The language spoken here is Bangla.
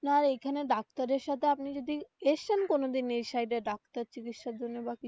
আপনার এইখানে ডাক্তারের সাথে আপনি যদি এসেছেন কোনো দিন এই সাইড এ ডাক্তার চিকিৎসার জন্যে বা কিছু র জন্যে.